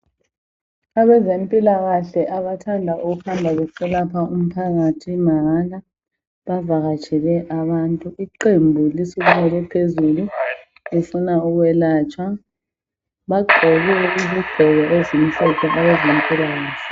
Abezempilakahle abathanda ukuhamba beselapha umphakathi mahala bavakatshele abantu .Iqembu lisukumele Phezulu lifuna ukwelatshwa, bagqoke ezimhlophe phezulu abezempilakahle.